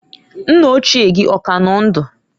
Nna ochie gị ọ ka nọ ndụ?